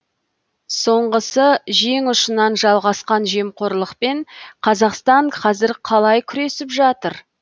соңғысы жең ұшынан жалғасқан жемқорлықпен қазақстан қазір қалай күресіп жатыр